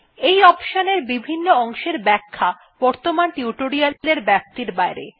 এই অপশন এর বিভন্ন অংশের ব্যাখ্যা বর্তমান টিউটোরিয়ালের ব্যাপ্তির বাইরে